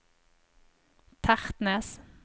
Tertnes